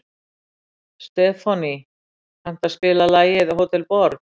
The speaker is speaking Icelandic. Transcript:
Stefánný, kanntu að spila lagið „Hótel Borg“?